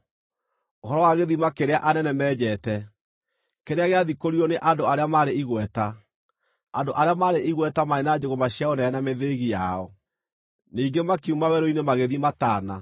ũhoro wa gĩthima kĩrĩa anene menjete, kĩrĩa gĩathikũririo nĩ andũ arĩa marĩ igweta, andũ arĩa marĩ igweta marĩ na njũgũma cia ũnene na mĩthĩĩgi yao.” Ningĩ makiuma werũ-inĩ magĩthiĩ Matana,